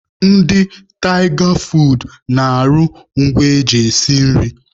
Ndị Tịga foodu na-arụ ngwa eji esi nri.